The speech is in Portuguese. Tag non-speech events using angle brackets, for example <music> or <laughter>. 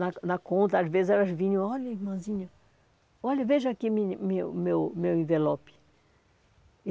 Na na conta, às vezes, elas vinham e falavam, olha, irmãzinha, olha, veja aqui <unintelligible> minha meu meu meu envelope.